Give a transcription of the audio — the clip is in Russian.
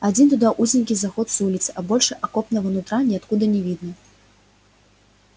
один туда узенький заход с улицы а больше окопного нутра ниоткуда не видно